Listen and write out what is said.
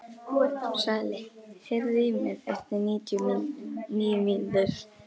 Svali, heyrðu í mér eftir níu mínútur.